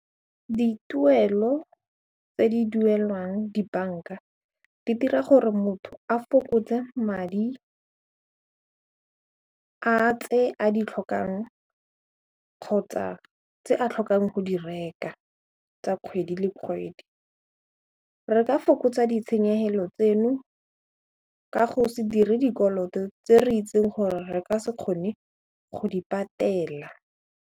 Dituelo tse di duelwang dibanka di dira gore motho a fokotse madi a tse a ditlhokang kgotsa tse a tlhokang go di reka tsa kgwedi le kgwedi re ka fokotsa ditshenyegelo tseno ka go se dire dikoloto tse re itseng gore re ka se kgone go di patela.